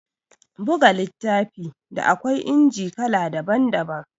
Buga littafi, da akwai inji kala daban-daban